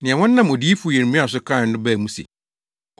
Nea wɔnam odiyifo Yeremia so kae no baa mu se,